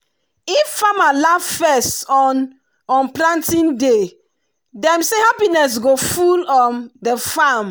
if farmer laugh first on um planting day dem say happiness go full um the farm.